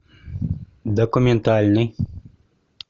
документальный